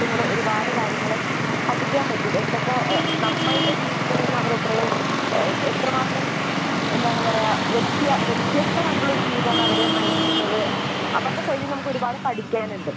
കൂടെ ഒരുപാട് കാര്യങ്ങൾ പഠിക്കാൻ പറ്റും. എന്തൊക്കെ എഹ് നമ്മളുടെ ജീവിതത്തിൽ നിന്ന് അവർ എത്രയും എഹ് എത്രമാത്രം എന്താണ് പറയാ വ്യത്യാ വ്യത്യസ്തമായിട്ടുള്ളൊരു ജീവിതമാണ് അവർ നയിക്കുന്നത്. അവരുടെ സൈഡിൽ നിന്ന് നമുക്ക് ഒരുപാട് പഠിക്കാനുണ്ട്.